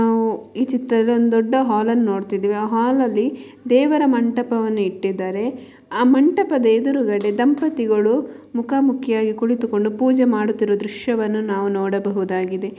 ನಾವು ಈ ಚಿತ್ರದಲ್ಲಿ ದೊಡ್ಡ ಹಾಲ್ ಅನ್ನು ನೋಡ್ತಿದ್ದೇವೆ ಹಾಲ್ ಅಲ್ಲಿ ದೇವರ ಮಂಟಪವನ್ನು ಇಟ್ಟಿದ್ದಾರೆ ಆ ಮಂಟಪದ ಎದುರು ಕಡೆ ದಂಪತಿಗಳೂ ಮುಖ ಮುಖಿಯಾಗಿ ಕುಳಿತುಕೊಂಡಿರುವ ದೃಶ್ಯ ನಾವು ನೋಡಬಹುದಾಗಿದೆ.